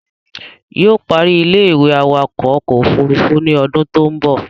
Yóò ó parí ilé-ìwé awakọ̀ ọkọ̀ òfurufú ní odún tó ń bọ̀